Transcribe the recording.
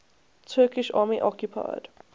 turkish army occupied